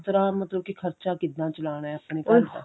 ਕਿਸ ਤਰ੍ਹਾਂ ਮਤਲਬ ਕਿ ਖਰਚਾ ਕਿੱਦਾਂ ਚਲਾਨਾ ਆਪਣੇ ਘਰਦਾ